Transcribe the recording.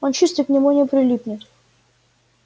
он чистый к нему не прилипнет